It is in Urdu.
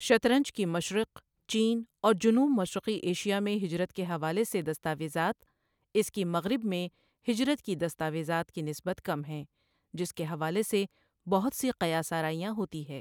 شطرنج کی مشرق، چین اور جنوب مشرقی ایشیا، میں ہجرت کے حوالے سے دستاویزات، اس کی مغرب میں ہجرت کی دستاویزات، کی نسبت کم ہیں جس کے حوالے سے بہت سی قیاس آرائیاں ہوتی ہے۔